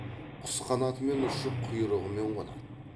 құс қанатымен ұшып құйрығымен қонады